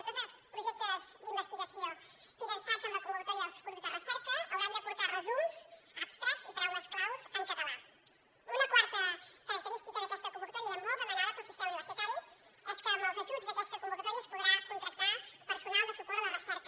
tots els projectes d’investigació finançats amb la convocatòria dels grups de recerca hauran de portar resums abstractsuna quarta característica d’aquesta convocatòria era molt demanada pel sistema universitari és que amb els ajuts d’aquesta convocatòria es podrà contractar personal de suport a la recerca